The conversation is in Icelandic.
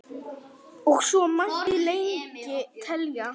og svo mætti lengi telja.